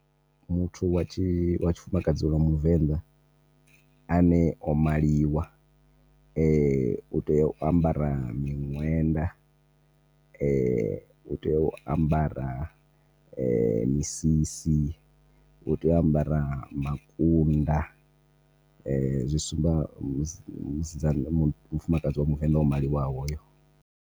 Muthu wa tshifumakadzi wa muvenḓa ane o maliwa , u tea u ambara miṅwenda , u tea u ambara , misisi u tea u ambara makunda , zwi sumba mufumakadzi wa muvenḓa o maliwaho.